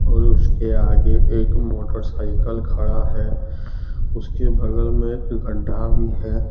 और उसके आगे एक मोटरसाइकिल खड़ा है उसके बगल में एक गढ़ा भी है।